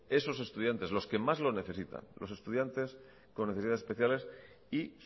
esos estudiantes los que más lo necesitan los estudiantes con necesidades especiales y